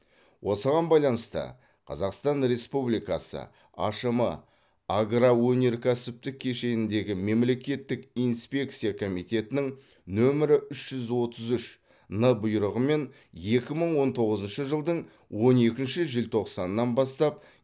осыған байланысты қазақстан республикасы ашм агроөнеркәсіптік кешендегі мемлекеттік инспекция комитетінің нөмірі үш жүз отыз үш н бұйрығымен екі мың он тоғызыншы жылдың он екінші желтоқсанынан бастап